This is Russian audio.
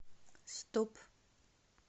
стоп